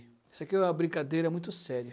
E isso aqui é uma brincadeira muito séria.